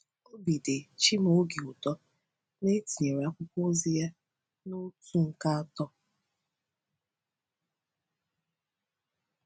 Obi dị Chimaoge ụtọ na e tinyere akwụkwọ ozi ya na otu nke atọ.